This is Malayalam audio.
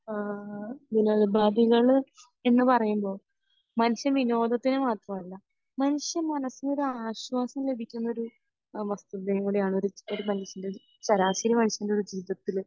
ആഹ് വിനോദോപാദികൾ എന്ന് പറയുമ്പോ മനുഷ്യൻ വിനോദത്തിന് മാത്രം അല്ല മനുഷ്യ മനസ്സിന് ഒരു ആശ്വാസം ലഭിക്കുന്ന ഒരു വസ്തുതയുംകൂടി ആണ് ഒരു മനുഷ്യൻ്റെ ഒരു ശരാശരി മനുഷ്യൻ്റെ ഒരു ജീവിതത്തിൽ